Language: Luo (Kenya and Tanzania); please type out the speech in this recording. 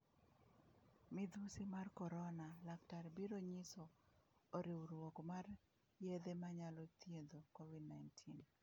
Midhusi mar Korona: Laktar biro nyiso oriwruok mar yedhe manyalo thiedho Covid-19